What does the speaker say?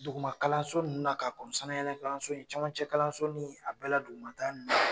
Duguma kalanso nunnu na ka kon sanayɛlɛ kalanso caman cɛ kalanso ni a bɛɛla dugumata nunnu.